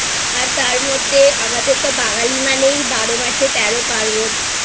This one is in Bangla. আর তার মধ্যে আমাদের তো বাঙালি মানেই বারো মাসে তেরো পার্বণ